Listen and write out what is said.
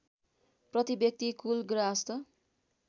प्रतिव्यक्ति कुल ग्राहस्त